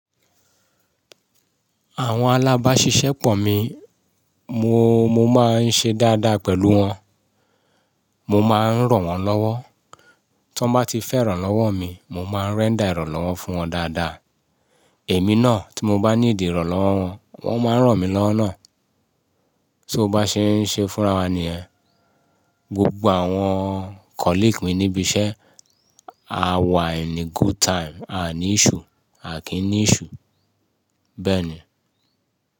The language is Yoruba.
Àwọn alábáṣiṣẹ́ pọ̀ mi, mo, mo máa ń ṣe dáadáa pẹ̀lú wọn, mo máa ń ràn wọ́n lọ́wọ́. Tí wọ́n bá ti fẹ́ ìrànlọ́wọ́ mi, mo máa ń render é fún wọn dáadáa. Èmi náà tí mo bá ní ìdí ìrànlọ́wọ́ wọn, wọ́n máa ń ràn mí lọ́wọ́ nà. So bá ṣe ń ṣe fúnra wá ni ẹ́. Gbogbo àwọn colleague ni ibi iṣẹ́ a wà in a good time a ní issue, a kí n ní issue.